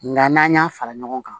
Nga n'an y'a fara ɲɔgɔn kan